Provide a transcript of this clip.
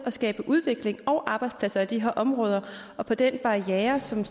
at skabe udvikling og arbejdspladser i de her områder og på den barriere som